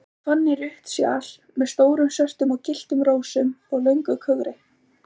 Svo fann ég rautt sjal með stórum svörtum og gylltum rósum og löngu kögri.